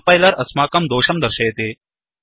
compiler अस्माकं दोषं दर्शयति